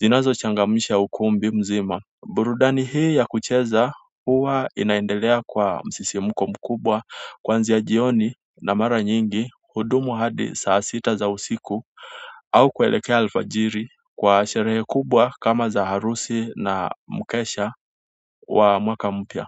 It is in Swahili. zinazo changamsha ukumbi mzima burudani hii ya kucheza huwa inaendelea kwa msisimko mkubwa kwanzia jioni na mara nyingi hudumu hadi saa sita za usiku au kuelekea alfajiri kwa sherehe kubwa kama za harusi na mkesha wa mwaka mpya.